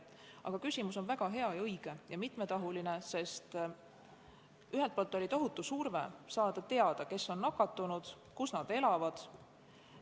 Aga küsimus on väga hea, õige ja mitmetahuline, sest ühelt poolt oli tohutu surve saada teada, kes on nakatunud ja kus nad elavad.